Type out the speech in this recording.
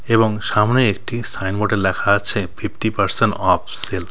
এবং সামনে একটি সাইনবোর্ডে ল্যাখা আছে ফিফটি পার্সেন্ট অফ সেল ।